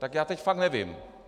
Tak já teď fakt nevím.